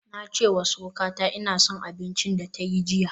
Na ce wa surukata ina son abincin da ta yi jiya